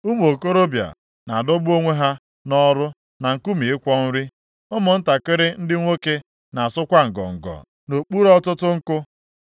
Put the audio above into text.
Ụmụ okorobịa na-adọgbu onwe ha nʼọrụ na nkume ịkwọ nri, ụmụntakịrị ndị nwoke na-asụkwa ngọngọ nʼokpuru ọtụtụ nkụ.